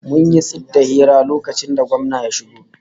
Mun yi tsit daga hira lokacin da gwamna ya shigo